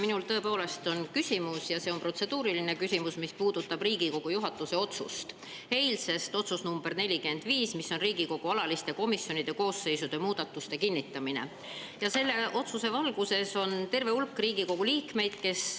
Minul on tõepoolest küsimus ja see on protseduuriline küsimus, mis puudutab Riigikogu juhatuse eilset otsust nr 45, mis käib Riigikogu alaliste komisjonide koosseisude muudatuste kinnitamise kohta.